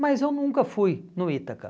Mas eu nunca fui no Ítaca.